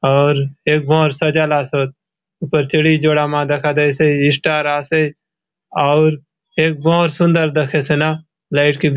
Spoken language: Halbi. आउर एक भोअर सजालासोत ऊपर चड़ई जोड़ा मा दखा दयसे स्टार आसे आउर एक भोअर सुंदर दखेसे ना लाइट के --